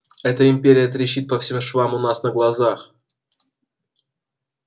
эта империя трещит по всем швам у нас на глазах